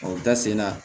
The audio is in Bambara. O da sen na